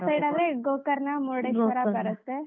ಆ side ಆದ್ರೆ ಗೋಕರ್ಣ, ಬರುತ್ತೆ.